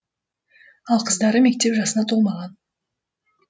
ал қыздары мектеп жасына толмаған